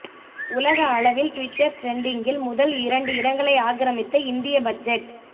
உலக அளவில் ட்விட்டர் ட்ரெண்டிங்கில் முதல் இரண்டு இடங்களை ஆக்கிரமித்த இந்திய பட்ஜெட்